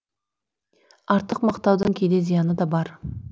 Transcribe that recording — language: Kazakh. артық мақтаудың кейде зияны да бар